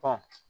Ba